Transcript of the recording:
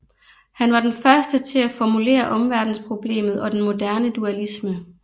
Han var den første til at formulere omverdensproblemet og den moderne dualisme